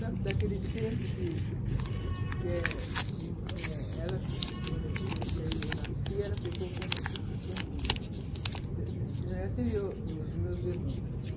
Sabe, daquele tempo que que é eu nasci, ela ficou com... Eu tenho os meus irmãos.